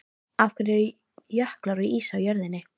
Af hverju eru jöklar og ís á jörðinni?